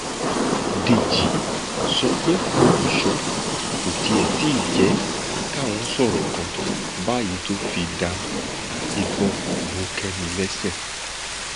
dèjì sọ pé olùṣọ kò tiẹ tí ì jẹ káwọn sọrọ kan báyìí tó fi da ìbọn bo kẹmi lẹsẹ